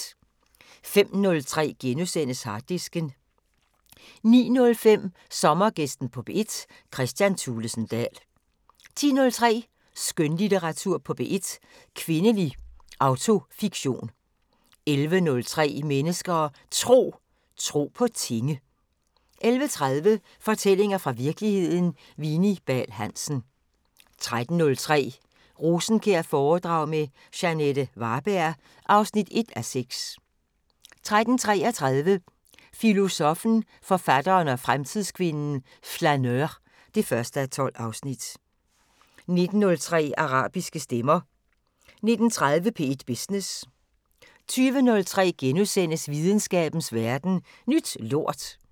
05:03: Harddisken * 09:05: Sommergæsten på P1: Kristian Thulesen Dahl 10:03: Skønlitteratur på P1: Kvindelig autofiktion 11:03: Mennesker og Tro: Tro på tinge 11:30: Fortællinger fra virkeligheden – Vini Bahl Hansen 13:03: Rosenkjær-foredrag med Jeanette Varberg (1:6) 13:33: Filosoffen, forfatteren og fremtidskvinden: Flaneur (1:12) 19:03: Arabiske stemmer 19:30: P1 Business 20:03: Videnskabens Verden: Ny lort *